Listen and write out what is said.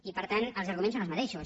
i per tant els arguments són els mateixos